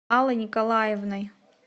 аллой николаевной